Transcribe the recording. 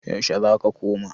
yaushe za ka koma?